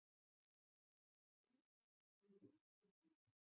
Engar fleiri spurningar.